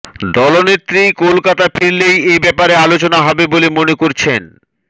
দলনেত্রী কলকাতায় ফিরলেই এ ব্যাপারে আলোচনা হবে বলে মনে করছেন